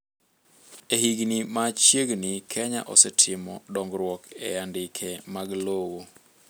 E higni ma chiegni Kenya osetimo dongruok e andike mag lowo